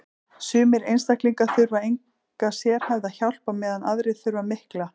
sumir einstaklingar þurfa enga sérhæfða hjálp á meðan aðrir þurfa mikla